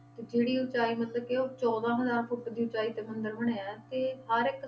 ਤੇ ਜਿਹੜੀ ਉਚਾਈ ਮਤਲਬ ਕਿ ਉਹ ਚੌਦਾਂ ਹਜ਼ਾਰ ਫੁੱਟ ਦੀ ਉਚਾਈ ਤੇ ਮੰਦਰ ਬਣਿਆ ਤੇ ਹਰ ਇੱਕ